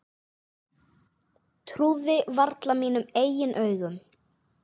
Trúði varla mínum eigin augum.